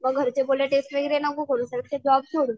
मग घरचे म्हणले टेस्ट वगैरे नको करू सरळ ते जॉब सोड.